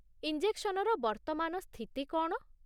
ଇଞ୍ଜେକ୍ସନର ବର୍ତ୍ତମାନ ସ୍ଥିତି କ'ଣ?